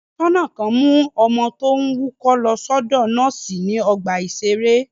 Aṣọ́nà kan mú ọmọ tó ń wúkọ́ lọ sọ́dọ̀ nọ́ọ́sì ní ọgbà-ìṣeré.